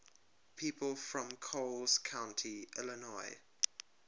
people from coles county illinois